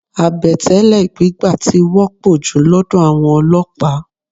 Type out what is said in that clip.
Àbẹ̀tẹ́lẹ̀ gbígbà tí wọ́pọ̀ jù lọ́dọ̀ àwọn olọ́pàá.